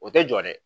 O tɛ jɔ dɛ